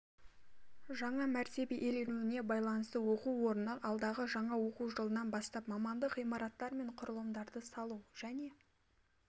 жаңа мәртебе иеленуіне байланыстыоқу орны алдағы жаңа оқу жылынан бастап мамандық ғимараттар мен құрылымдарды салу және